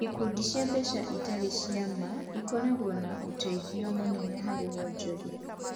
Ikundi cia mbeca itarĩ cia ma ikoragwo na ũteithio mũnene harĩ wonjoria